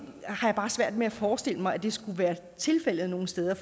har bare svært ved at forestille mig at det skulle være tilfældet nogen steder